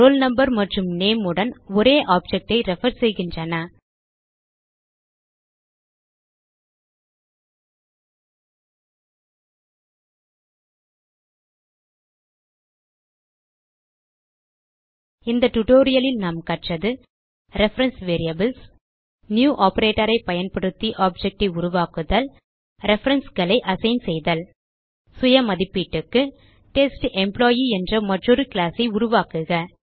role number மற்றும் name உடன் ஒரே ஆப்ஜெக்ட் ஐ ரெஃபர் செய்கின்றன இந்த tutorialலில் நாம் கற்றது ரெஃபரன்ஸ் வேரியபிள்ஸ் நியூ operatorஐ பயன்படுத்தி ஆப்ஜெக்ட் உருவாக்குதல் referenceகளை அசைன் செய்தல் சுய மதிப்பீட்டுக்கு டெஸ்டம்ப்ளாயி என்ற மற்றொரு கிளாஸ் உருவாக்குக